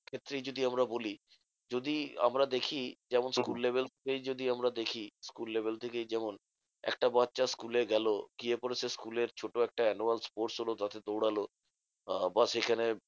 ক্ষেত্রেই যদি আমরা বলি যদি আমরা দেখি যেমন school level থেকেই যদি আমরা দেখি, school level থেকেই যেমন একটা বাচ্চা school এ গেলো গিয়ে পরে সে school এর ছোট একটা annual sports হলো তাতে দৌড়ালো। আহ ব্যাস এখানে